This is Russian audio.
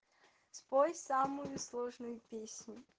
спой самую сложную песню